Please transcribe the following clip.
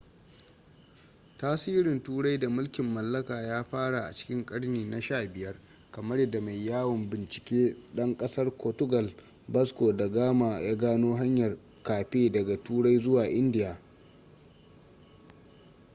tasirin turai da mulkin mallaka ya fara a cikin karni na 15 kamar yadda mai yawon bincike ɗan ƙasar ƙortugal vasco da gama ya gano hanyar cape daga turai zuwa india